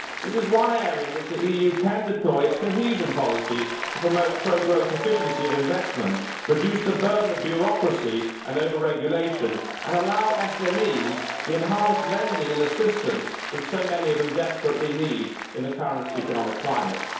This is one area in which the EU can deploy its cohesion policy to promote pro growth efficiency of investment, reduce the burden of bureaucracy and over regulation, and allow SMEs the enhanced lending and assistance that so many of them desperately need in the current economic climate.